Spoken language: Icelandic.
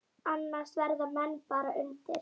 Annars verða menn bara undir.